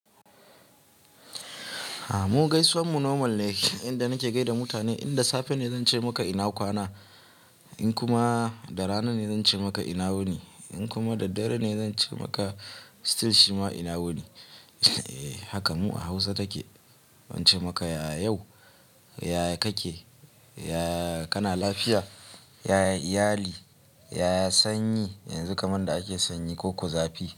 Mu gaisuwan mu normal ne inda nake gaida mutane, inda safe ne zan ce maka ina kwana, in kuma da rana ne zan ce maka ina wuni, in kuma da dare ne zan ce maka still shi ma ina wuni. Haka mu a Hausa take, zan ce maka ya yau? Ya ya kake? Ya ya kana lafiya? Ya ya iyali? Ya ya sanyi yanzu kaman da ake sanyi ko ko zafi?